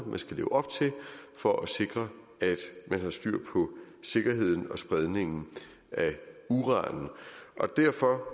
man skal leve op til for at sikre at man har styr på sikkerheden og spredningen af uran derfor